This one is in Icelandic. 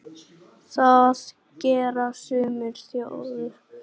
Það gera sumar þjóðir.